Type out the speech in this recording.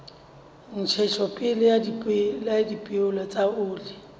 ntshetsopele ya dipeo tsa oli